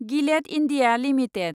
Gillette India limited